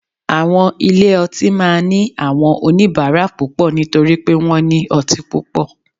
Àwọn ilé ọtí máa ní àwọn oníbàárà púpọ̀ nítorí pé wọ́n ní ọtí púpọ̀